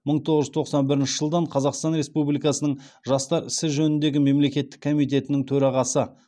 мың тоғыз жүз тоқсан бірінші жылдан қазақстан республикасының жастар ісі жөніндегі мемлекеттік комитетінің төрағасы